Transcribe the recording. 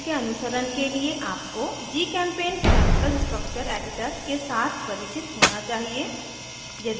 इस ट्यूटोरियल के अनुसरण के लिए आपको gchempaint केमिकल स्ट्रक्चर एडिटर के साथ परिचित होना चाहिए